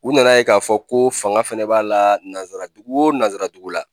U nana ye k'a fɔ ko fanga fana b'a la nanzaradugu o nanzaradugu la.